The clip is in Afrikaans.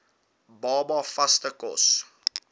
baba vaste kos